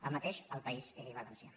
el mateix al país valencià